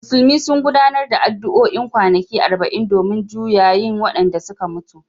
Musulmi sun gudanar da addu’o’in kwanaki arba’in domin juyayin wadanda suka mutu